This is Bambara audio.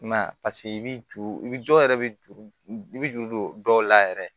I m'a ye paseke i bi juru i bi dɔw yɛrɛ bɛ juru i bi juru don dɔw la yɛrɛ